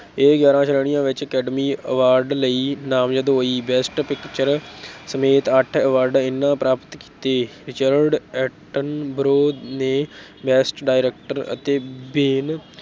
ਇਹ ਗਿਆਰਾਂ ਸ਼੍ਰੇਣੀਆਂ ਵਿੱਚ academy award ਲਈ ਨਾਮਜਦ ਹੋਈ best picture ਸਮੇਤ ਅੱਠ award ਇਹਨਾਂ ਪ੍ਰਾਪਤ ਕੀਤੇ, ਰਿਚਰਡ ਐਟਨਬਰੋ ਨੇ best director ਅਤੇ ਬੇਨ